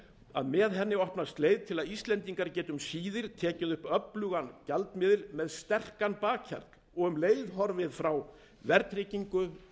að með henni opnast leið til að ísland geti um síðir tekið upp öflugan gjaldmiðil með sterkan bakhjarl og um leið horfið frá verðtryggingu